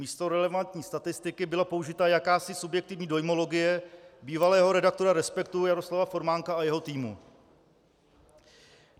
Místo relevantní statistiky byla použita jakási subjektivní dojmologie bývalého redaktora Respektu Jaroslava Formánka a jeho týmu.